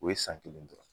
O ye san kelen dɔrɔn